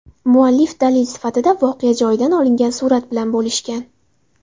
Muallif dalil sifatida voqea joyidan olingan surat bilan bo‘lishgan.